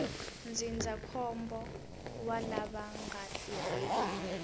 ndzindzakhombo wa lava nga tirheki